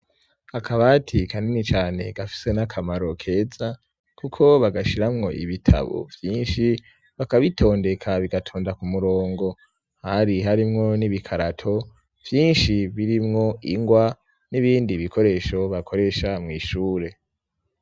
Akabati kanini cane gafise n'akamaro keza kuko bagashiramwo ibitabo byinshi bakabitondeka bigatonda ku murongo hari harimwo n'ibikarato byinshi birimwo ingwa n'ibindi bikoresho bakoresha mw'ishure.